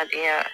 A diya